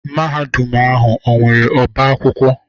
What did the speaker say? Mahadum ahụ ọ nwere ọbá akwụkwọ?